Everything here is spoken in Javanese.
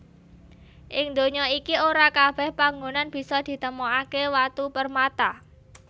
Ing donya iki ora kabèh panggonan bisa ditemokaké watu permata